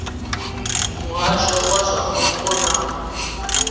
muhasho wa zwa mupo na